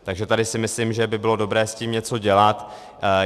Takže tady si myslím, že by bylo dobré s tím něco dělat.